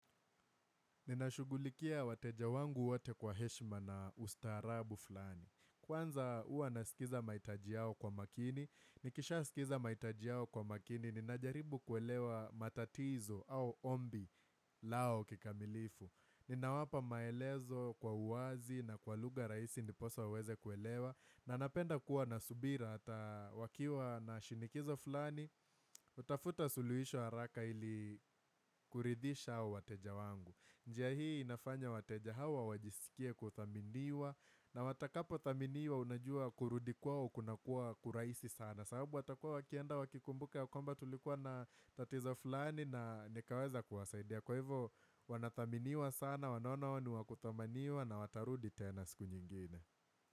Ninashughulikia wateja wangu wote kwa heshima na ustaarabu fulani. Kwanza huwa nasikiza mahitaji yao kwa makini. Nikishasikiza mahitaji yao kwa makini. Ninajaribu kuelewa matatizo au ombi lao kikamilifu. Ninawapa maelezo kwa uwazi na kwa lugha rahisi ndiposa uweze kuelewa. Na napenda kuwa na subira ata wakiwa na shinikizo fulani. Tafuta suluhisho haraka ili kuridhisha wateja wangu. Njia hii inafanya wateja hawa wajisikie kuthaminiwa na watakapo thaminiwa unajua kurudi kwao kunakuwa kurahisi sana sababu watakua wakienda wakikumbuka ya kwamba tulikuwa na tatizo fulani na nikaweza kuwasaidia Kwa hivo wanathaminiwa sana wanona wao ni wa kuthamaniwa na watarudi tena siku nyingine.